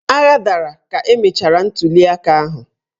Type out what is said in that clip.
Agha dara ka emechara ntuliaka ahụ.